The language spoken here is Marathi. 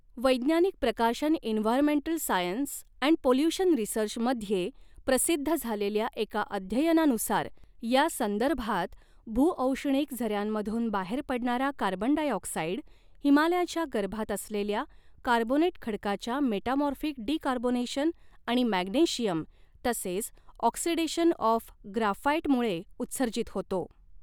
वैज्ञानिक प्रकाशन environmental science and pollution research मध्ये प्रसिद्ध झालेल्या एका अध्ययनानुसार, यासंदर्भात, भूऔष्णिक झऱ्यांमधून बाहेर पडणारा कार्बन डायऑक्साईड, हिमालयाच्या गर्भात असलेल्या कार्बोनेट खडकाच्या मेटामॉर्फिक डीकार्बोनेशन आणि मॅग्नेशियम तसेच ऑक्सिडेशन ऑफ ग्राफाएटमुळे उत्सर्जित होतो.